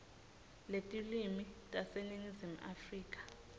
letilwimi taseningizimu afrika